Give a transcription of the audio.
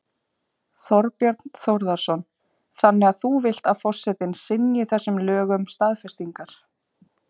Þorbjörn Þórðarson: Þannig að þú vilt að forsetinn synji þessum lögum staðfestingar?